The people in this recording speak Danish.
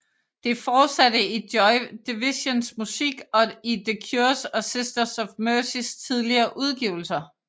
Det fortsatte i Joy Divisions musik og i The Cures og Sisters of Mercys tidlige udgivelser